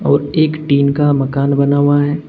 और एक टीन का मकान बना हुआ है।